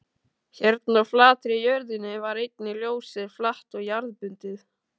Hérna á flatri jörðinni var einnig ljósið flatt og jarðbundið.